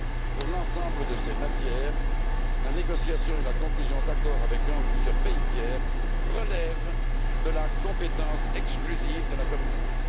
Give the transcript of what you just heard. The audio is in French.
Pour l'ensemble de ces matières, la négociation et la conclusion d'accords avec un ou plusieurs pays tiers relèvent de la compétence exclusive de la Communauté.